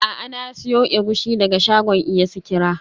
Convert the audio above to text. A'a, na siyo egusi daga shagon iya sikira.